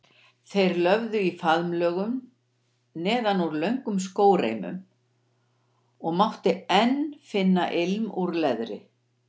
Þeir löfðu í faðmlögum neðan úr löngum skóreimum og mátti enn finna ilm úr leðri.